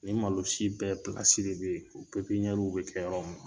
Nin malosi bɛɛ de be yen . U be kɛ yɔrɔ min na.